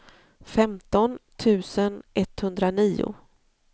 femton tusen etthundranio